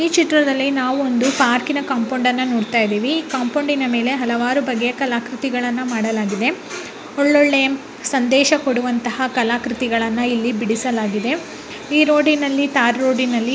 ಈ ಚಿತ್ರದಲ್ಲಿ ನಾವು ಒಂದು ಪಾರ್ಕಿನ ಕೊಂಪೌಂಡನ್ನ ನೋಡ್ತಾ ಇದ್ದೀವಿ. ಕೊಂಪೌಂಡಿನ ಮೇಲೆ ಹಲವಾರು ಬಗೆಯ ಕಲಾಕೃತಿಗಳನ್ನ ಮಾಡಲಾಗಿದೆ. ಒಳ್ಳೊಳ್ಳೆ ಸಂದೇಶ ಕೊಡುವಂತಹ ಕಲಾಕೃತಿಗಳನ್ನ ಇಲ್ಲಿ ಬಿಡಿಸಲಾಗಿದೆ. ಈ ರೋಡಿನಲ್ಲಿ ಟಾರ್ ರೋಡಿ ನಲ್ಲಿ --